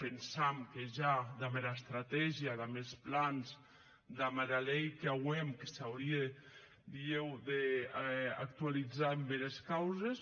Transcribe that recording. pensam que ja damb era estrategia damb es plans damb era lei qu’auem que s’aurie dilhèu d’actualizar en bères causes